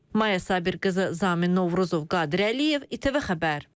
Maya Səfərbir qızı Zamin Novruzov, Qədir Əliyev, ATV.